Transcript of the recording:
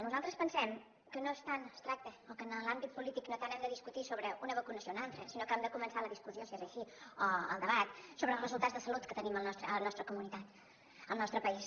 nosaltres pensem que no és tan abstracte o que en l’àmbit polític no hem de discutir tant sobre una vacunació o una altra sinó que hem de començar la discussió si és així o el debat sobre els resultats de salut que tenim a la nostra comunitat al nostre país